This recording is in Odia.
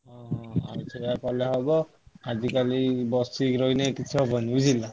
ଓହୋ ସେଇଆ କଲେ ହବ ଆଜିକାଲି ବସିକି ରହିଲେ କିଛି ହବନି ବୁଝିଲ।